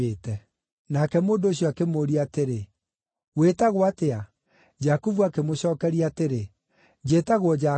Nake mũndũ ũcio akĩmũũria atĩrĩ, “Wĩtagwo atĩa?” Jakubu akĩmũcookeria atĩrĩ, “Njĩtagwo Jakubu.”